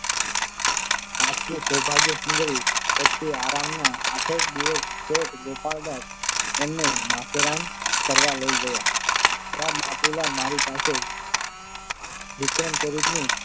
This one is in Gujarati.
આથી સૌભાગ્યસુંદરી પછી આરામના આઠેક દિવસ શેઠ ગોપાળદાસ અમને માથેરાન ફરવા લઈ ગયા હતા ત્યાં બાપુલાલ મારી પાસે વિક્રમચરિત્ર ની